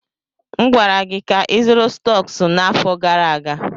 M gwara gị ka ịzụrụ stọks n'afọ gara aga!